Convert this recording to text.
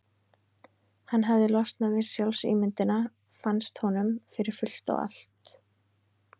Hann hafði losnað við sjálfsímyndina, fannst honum, fyrir fullt og allt.